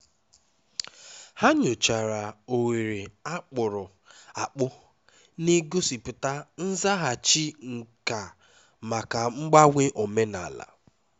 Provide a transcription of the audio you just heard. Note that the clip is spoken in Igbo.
ha nyochara oghere a kpụrụ akpụ na-egosipụta nzaghachi nka maka mgbanwe omenala